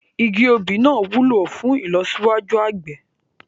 Igi òbí náà wúlò fún ìlọsíwájú àgbẹ̀